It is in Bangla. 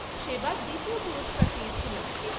সেবার দ্বিতীয় পুরষ্কার পেয়েছিলাম।